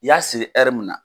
I y'a siri ɛri mun na.